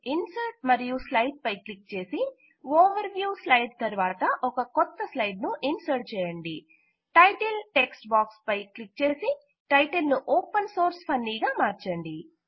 insert మరియు slide పై click చేసి ఓవర్ వ్యూ స్లైడ్ తరువాత ఒక కొత్త స్లైడ్ ను ఇన్సర్ట్ చేయండి టైటిల్ టెక్ట్స్ బాక్స్ పై క్లిక్ చేసి టైటిల్ ను ఓపెన్ సోర్స్ ఫన్నీ గా మార్చండి